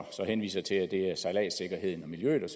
henviser til at det er sejladssikkerheden og miljøet og